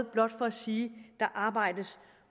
blot for at sige at arbejdes